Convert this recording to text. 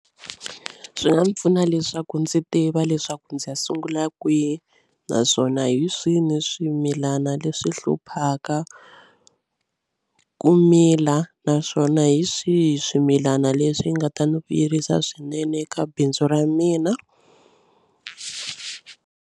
Swi nga ndzi pfuna leswaku ndzi tiva leswaku ndzi ya sungula kwihi naswona hi swini swimilana leswi hluphaka ku mila naswona hi swihi swimilana leswi nga ta ni vuyerisa swinene ka bindzu ra mina.